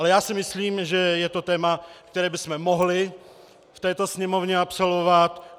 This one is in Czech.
Ale já si myslím, že je to téma, které bychom mohli v této Sněmovně absolvovat.